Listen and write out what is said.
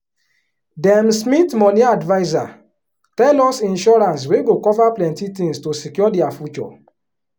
them smith money adviser tell us insurance wey go cover plenty tins to secure their future.